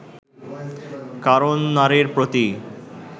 কারণ নারীর প্রতি